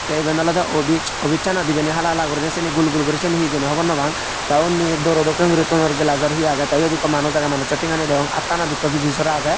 the iben olode office anot ibani hala hala guriney seni gul gul guriney seni he hijeni hobor nw pang the undi door o dokkin guri thonor glass or he age the iyot ekku manuj age manuchu thengani degong attanot ekku piji sora agey.